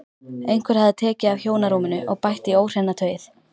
Einhver hafði tekið af hjónarúminu og bætt í óhreina tauið.